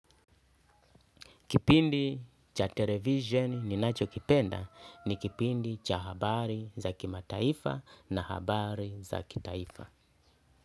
Kipindi cha television ninachokipenda ni kipindi cha habari za kimataifa na habari za kitaifa.